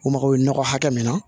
U mago bɛ nɔgɔ hakɛ min na